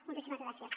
moltíssimes gràcies